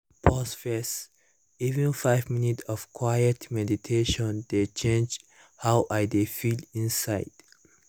pause first— even five minutes of quiet meditation dey change how i dey feel inside